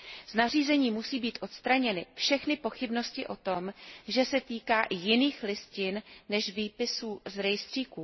Z nařízení musí být odstraněny všechny pochybnosti o tom, že se týká i jiných listin než výpisů z rejstříků.